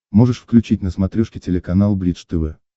можешь включить на смотрешке телеканал бридж тв